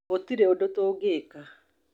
gũtirĩ ũndũ tũngĩka